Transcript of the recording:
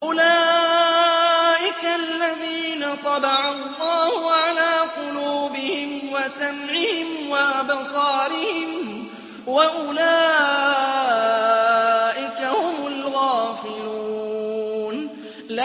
أُولَٰئِكَ الَّذِينَ طَبَعَ اللَّهُ عَلَىٰ قُلُوبِهِمْ وَسَمْعِهِمْ وَأَبْصَارِهِمْ ۖ وَأُولَٰئِكَ هُمُ الْغَافِلُونَ